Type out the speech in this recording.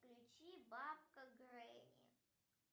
включи бабка гренни